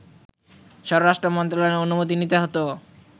স্বরাষ্ট্রমন্ত্রণালয়ের অনুমতি নিতে হত